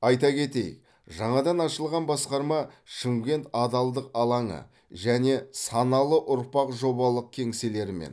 айта кетейік жаңадан ашылған басқарма шымкент адалдық алаңы және саналы ұрпақ жобалық кеңселерімен